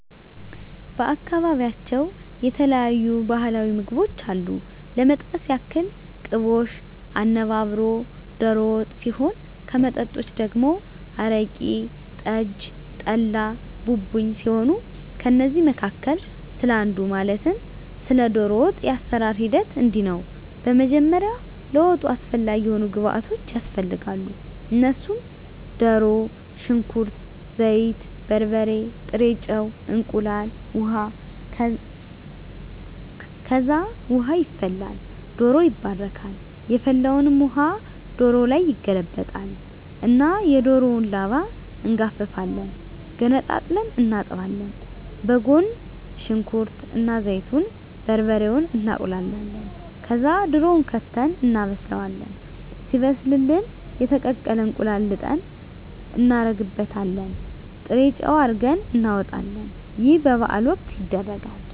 በአካባቢያቸው የተለያዩ ባህላዊ ምግቦች አሉ ለመጥቀስ ያክል ቅቦሽ፣ አነባበሮ፣ ዶሮ ወጥ ሲሆን ከመጠጦች ደግሞ አረቂ፣ ጠጅ፣ ጠላ፣ ቡቡኝ ሲሆኑ ከእነዚህ መካከል ስለ አንዱ ማለትም ስለ ዶሮ ወጥ የአሰራሩ ሂደት እንዲህ ነው በመጀመሪያ ለወጡ አስፈላጊ የሆኑ ግብዓቶች ያስፈልጋሉ እነሱም ድሮ፣ ሽንኩርት፣ ዘይት፣ በርበሬ፣ ጥሬ ጨው፣ እንቁላል፣ ውሀ፣ ከዛ ውሃ ይፈላል ዶሮው ይባረካል የፈላውን ውሀ ዶሮው ላይ ይገለበጣል እና የዶሮውን ላባ እንጋፍፋለን ገነጣጥለን እናጥባለን በጎን ሽንኩርት እና ዘይቱን፣ በርበሬውን እናቁላላለን ከዛ ድሮውን ከተን እናበስላለን ሲበስልልን የተቀቀለ እንቁላል ልጠን እናረግበታለን ጥሬጨው አርገን እናወጣለን ይህ በበዓል ወቅት ይደረጋል።